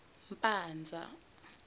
mpanza